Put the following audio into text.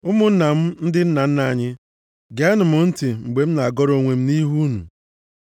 “Ụmụnna m na ndị nna anyị, geenụ m ntị mgbe m na-agọrọ onwe m nʼihu unu.”